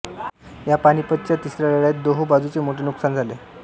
या पानिपतच्या तिसऱ्या लढाईत दोहो बाजुचे मोठे नुकसान झाले